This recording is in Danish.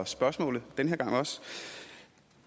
spørgsmålet